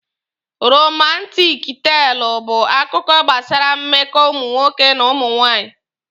Romantik teelụ bụ akụkọ gbasara mmekọ ụmụ nwoke na ụmụ nwaanyị